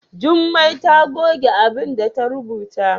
Jummai ta goge abinda ta rubuta.